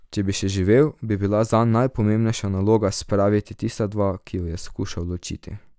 Če bi še živel, bi bila zanj najpomembnejša naloga spraviti tista dva, ki ju je skušal ločiti.